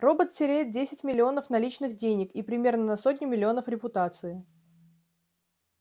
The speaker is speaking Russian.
робот теряет десять миллионов наличных денег и примерно на сотню миллионов репутации